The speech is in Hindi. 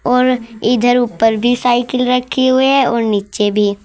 और इधर ऊपर भी साइकिल रखी हुई है और नीचे भी।